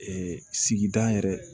sigida yɛrɛ